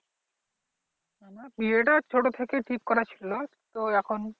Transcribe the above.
বিয়েটা ছোট থেকেই ঠিক করা ছিলো তো এখন